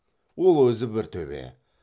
ол өзі бір төбе